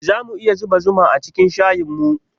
Zamu iya zuba zuma acikin shayinmu?